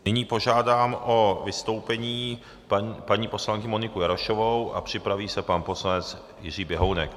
Nyní požádám o vystoupení paní poslankyni Moniku Jarošovou a připraví se pan poslanec Jiří Běhounek.